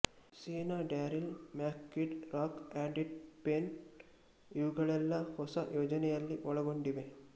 C ನ Darryl Mac Kid Rock and T Pain ಇವುಗಳೆಲ್ಲಾ ಹೊಸ ಯೋಜನೆಯಲ್ಲಿ ಒಳಗೊಂಡಿವೆ